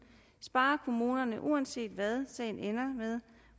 sparer kommunerne uanset hvad sagen ender med